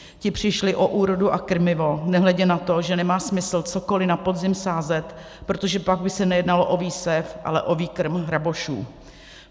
Ti přišli o úrodu a krmivo, nehledě na to, že nemá smysl cokoli na podzim sázet, protože pak by se nejednalo o výsev, ale o výkrm hrabošů.